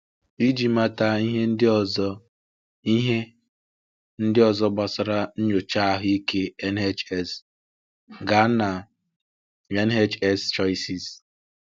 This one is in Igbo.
Iji mata ihe ndị ọzọ ihe ndị ọzọ gbasara Nnyocha Ahụike NHS, gaa na: NHS Choices